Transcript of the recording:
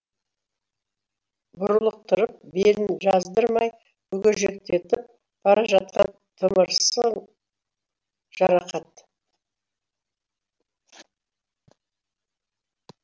бұрлықтырып белін жаздырмай бүгежектетіп бара жатқан тымырсың жарақат